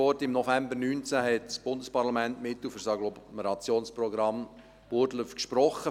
Im November 2019 hat das Bundesparlament die Mittel für das Agglomerationsprogramm Burgdorf gesprochen.